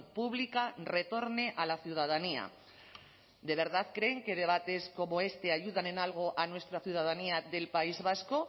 pública retorne a la ciudadanía de verdad creen que debates como este ayudan en algo a nuestra ciudadanía del país vasco